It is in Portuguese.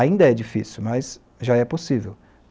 Ainda é difícil, mas já é possível.